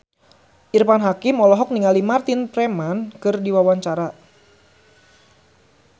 Irfan Hakim olohok ningali Martin Freeman keur diwawancara